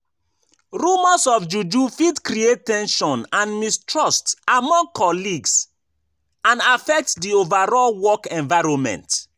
Rumors of juju fit create ten sion and mistrust among colleagues and affect di overall work environment.